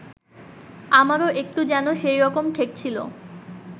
আমারও একটু যেন সেইরকম ঠেকছিল